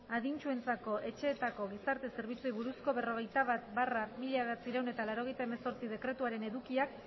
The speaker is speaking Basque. adintsuentzako etxeetako gizarte zerbitzuei buruzko berrogeita bat barra mila bederatziehun eta laurogeita hemezortzi dekretuaren edukiak